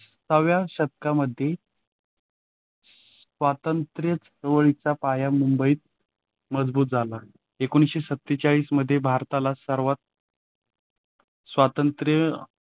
सहाव्या शतकामध्ये स्वातंत्र्यवळीचा पाया मुंबईत मजबूत झाला. एकोणीसशे सत्तेचाळीस मध्ये भारताला सर्वात स्वातंत्र्य.